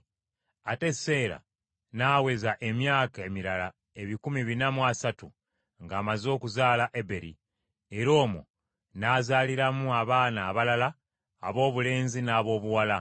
ate Seera n’aweza emyaka emirala ebikumi bina mu asatu ng’amaze okuzaala Eberi, era omwo n’azaaliramu abaana abalala aboobulenzi n’aboobuwala.